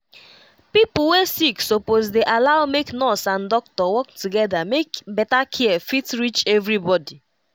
pipo wey sick suppose dey allow make nurse and doctor work together make better care fit reach everybody.